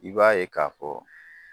I b'a ye k'a fɔ